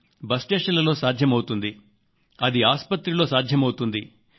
ఇంకా railway station లో సాధ్యమైంది బస్ స్టేషన్లో సాధ్యమవుతుంది